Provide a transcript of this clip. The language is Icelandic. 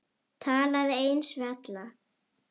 Talaði eins við alla.